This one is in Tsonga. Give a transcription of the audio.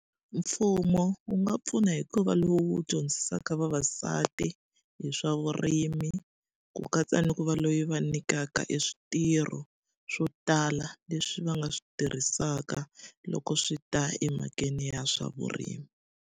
Mfumo wu nga pfuna hi ku va lowu dyondzisaka vavasati hi swa vurimi, ku katsa ni ku va loyi va nyikaka e switirho swo tala leswi va nga swi tirhisaka loko swi ta emhakeni ya swa vurimi.